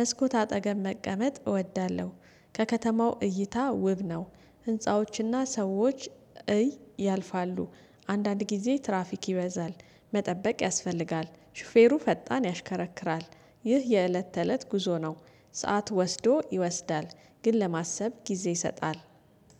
መስኮት አጠገብ መቀመጥ እወዳለሁ። ከከተማው እይታ ውብ ነው ህንፃዎችና ሰዎች ያልፋሉ። አንዳንድ ጊዜ ትራፊክ ይበዛል መጠበቅ ያስፈልጋል ሹፌሩ ፈጣን ያሽከረክራል። ይህ የእለት ተእለት ጉዞ ነው። ሰዓት ወስዶ ይወስዳል ግን ለማሰብ ጊዜ ይሰጣል